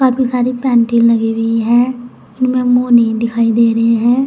Painting लगी हुई है उसमें मुंह नहीं दिखाई दे रही है।